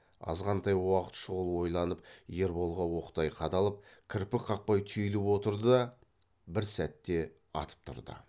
азғантай уақыт шұғыл ойланып ерболға оқтай қадалып кірпік қақпай түйіліп отырды да бір сәтте атып тұрды